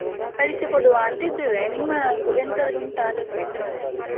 ಕಳಿಸಿಕೊಡುವ ಅಂತ ಇದ್ದೇವೆ, ನಿಮ್ಮ ಒ~ ಎಂತದ್ರು ಉಂಟಾ ಆಲೋಚನೆ ಎಂತದ್ರೂ ಉಂಟಾ?